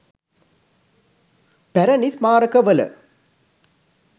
පැරැණි ස්මාරකවල